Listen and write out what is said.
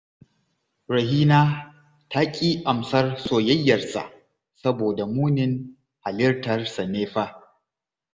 Rahina ta ƙi amsar soyayyarsa saboda munin halittarsa ne fa